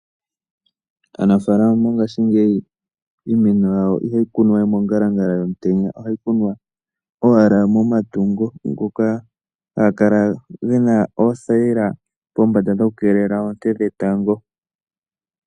Aanafalama mongashingeyi iimeno yawo ihayi kunwa we mongalangala yomutenya ihe ohayi kunwa owala momatungo ngoka haga kala gena oothaila pombanda dhoku keelela oonte dhetango.